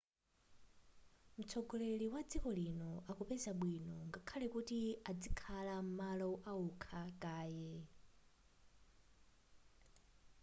mtsogoleri wa dziko lino akupeza bwino ngakhale kuti adzikhala m'malo aokha kaye